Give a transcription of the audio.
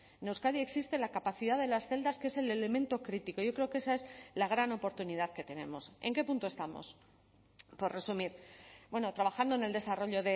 en euskadi existe la capacidad de las celdas que es el elemento crítico yo creo que esa es la gran oportunidad que tenemos en qué punto estamos por resumir bueno trabajando en el desarrollo